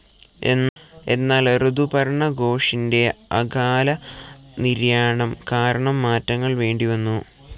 എന്നാൽ ഋതുപർണ ഘോഷിൻ്റെ അകാല നിര്യാണം കാരണം മാറ്റങ്ങൾ വേണ്ടിവന്നു.